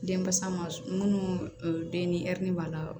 Denbasa ma minnu den ni hɛri b'a la